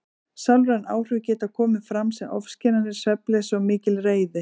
Sálræn áhrif geta komið fram sem ofskynjanir, svefnleysi og mikil reiði.